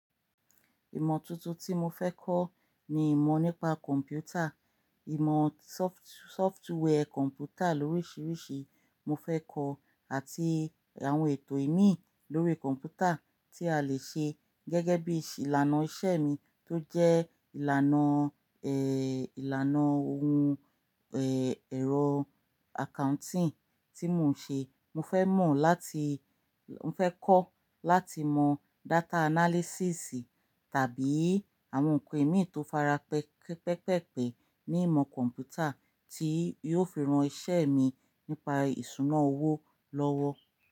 Ìmọ̀ tuntun tí mo fẹ́ kọ́ ni ìmọ̀ nípa kọ̀m̀pútà, ìmọ̀ sọft-software kọ̀m̀pútà lóríṣiríṣi mo fẹ́ kọ́ àti àwọn ètò ìmíì lórí kọ̀m̀pútà tí a lè ṣe gẹ́gẹ́ bí i ìlànà iṣẹ́ mi tó jẹ́ ìlànà, ẹ́, ìlànà ohun, ẹ́, ẹ̀rọ accounting tí mò ń ṣe. Mo fẹ́ mọ̀ láti-- mo fẹ́ kọ́ láti mọ data analysis tàbí àwọn ǹkan ìmíì tó fara pẹ́-pẹ́pẹ̀pẹ̀ ní ìmọ̀ kọ̀m̀pútà tí yóò fi ran iṣẹ́ mi nípa ìṣúná owó lọ́wọ́.